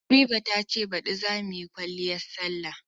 Habiba ta ce baɗi za mu yi kwaliyar salla.